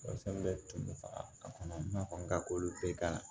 Walasa n bɛ tunu faga a kɔnɔ n'a kɔni ka k'olu bɛɛ la